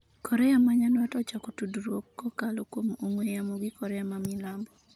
Korea ma nyandwat ochako tudruok kokalo kuom ong'we yamo gi Korea ma milambo